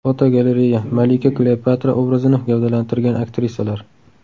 Fotogalereya: Malika Kleopatra obrazini gavdalantirgan aktrisalar.